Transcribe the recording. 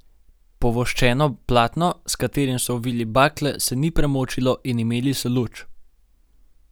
Povoščeno platno, s katerim so ovili bakle, se ni premočilo in imeli so luč.